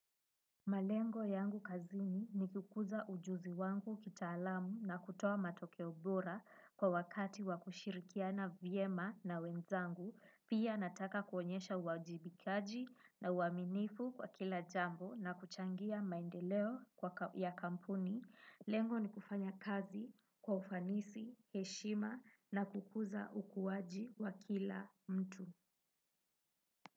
Malengo yangu kazini ni kukuza ujuzi wangu kitaalamu na kutoa matokeo bora kwa wakati wa kushirikiana vyema na wenzangu, pia nataka kuonyesha uwajibikaji na uaminifu kwa kila jambo na kuchangia maendeleo ya kampuni. Lengo ni kufanya kazi kwa ufanisi, heshima na kukuza ukuaji wa kila mtu.